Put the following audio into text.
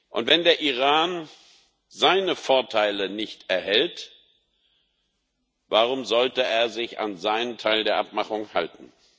Und wenn der Iran seine Vorteile nicht erhält, warum sollte er sich an seinen Teil der Abmachung halten?